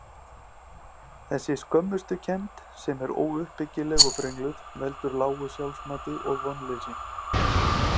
Þessi skömmustukennd, sem er óuppbyggileg og brengluð, veldur lágu sjálfsmati og vonleysi.